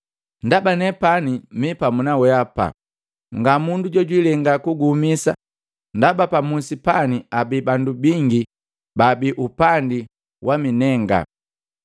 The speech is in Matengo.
ndaba nepani mipamu naweapa. Ngamundu jojwilenga kuguhumisa ndaba pamusi pani abii bandu bingi baabi upandi waminenga.”